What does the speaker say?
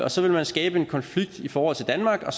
og så ville man skabe en konflikt i forhold til danmark og